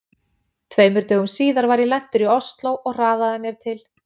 Tveimur dögum síðar var ég lentur í Osló og hraðaði mér til